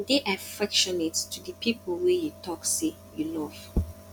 de affectionate to di people wey you talk sey you love